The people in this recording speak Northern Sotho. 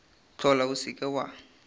hlola o se ke wa